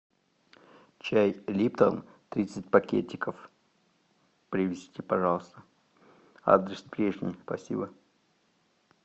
чай липтон тридцать пакетиков привезти пожалуйста адрес прежний спасибо